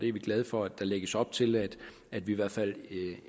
er glade for at der lægges op til at vi i hvert fald